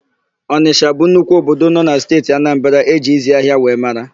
Ọnịsha bụ nnukwu obodo nọ na Steeti Anambara e ji ịzị ahịa wee mara.